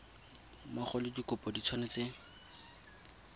mmogo le dikopo di tshwanetse